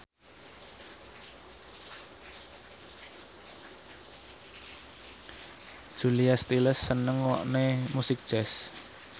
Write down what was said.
Julia Stiles seneng ngrungokne musik jazz